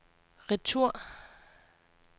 retur